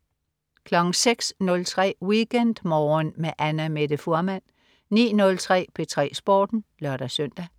06.03 WeekendMorgen med Annamette Fuhrmann 09.03 P3 Sporten (lør-søn)